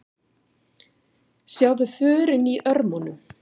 Sjáðu förin í örmunum.